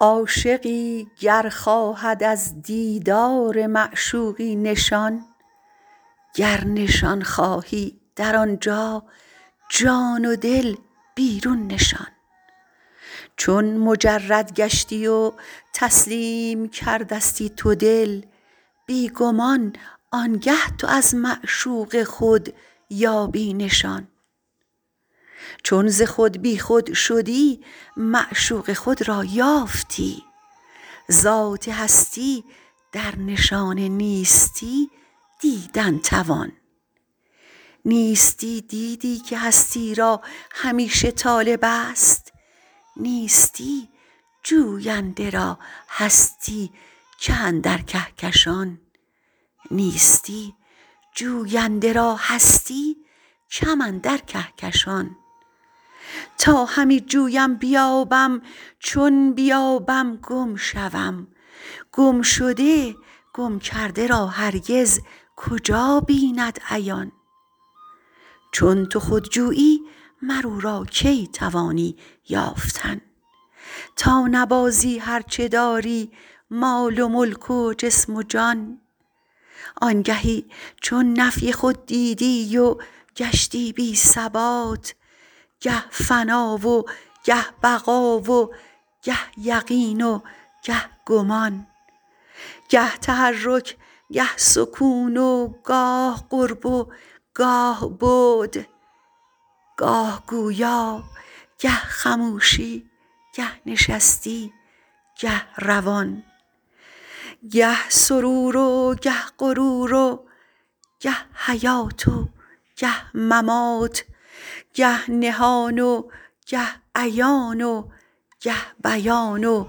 عاشقی گر خواهد از دیدار معشوقی نشان گر نشان خواهی در آنجا جان و دل بیرون نشان چون مجرد گشتی و تسلیم کردستی تو دل بی گمان آنگه تو از معشوق خود یابی نشان چون ز خود بی خود شدی معشوق خود را یافتی ذات هستی در نشان نیستی دیدن توان نیستی دیدی که هستی را همیشه طالبست نیستی جوینده را هستی کم اندر کهکشان تا همی جویم بیابم چون بیابم گم شوم گمشده گمکرده را هرگز کجا بیند عیان چون تو خود جویی مر او را کی توانی یافتن تا نبازی هر چه داری مال و ملک و جسم و جان آنگهی چون نفی خود دیدی و گشتی بی ثبات گه فنا و گه بقا و گه یقین و گه گمان گه تحرک گه سکون و گاه قرب و گاه بعد گاه گویا گه خموشی گه نشستی گه روان گه سرور و گه غرور و گه حیات و گه ممات گه نهان و گه عیان و گه بیان و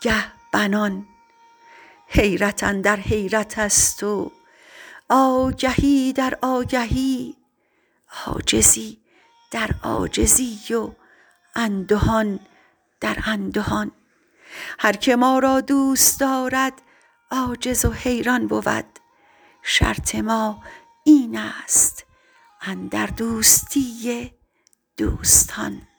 گه بنان حیرت اندر حیرتست و آگهی در آگهی عاجزی در عاجزی و اندهان در اندهان هر که ما را دوست دارد عاجز و حیران بود شرط ما اینست اندر دوستی دوستان